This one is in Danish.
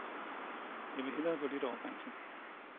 Jeg vil hellere gå lidt over grænsen.